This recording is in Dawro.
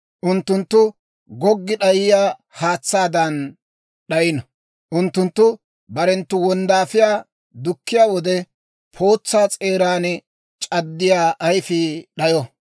Unttunttu goggi d'ayiyaa haatsaadan d'ayino. Unttunttu barenttu wonddaafiyaa dukkiyaa wode, pootsaa s'eeran c'addiyaa ayifii d'ayo.